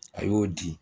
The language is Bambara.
A y'o di